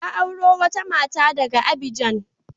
Ya auro wata mata daga Abijan.